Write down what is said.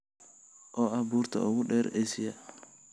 oo ah buurta ugu dheer Aasiya